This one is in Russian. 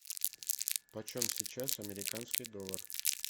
почем сейчас американский доллар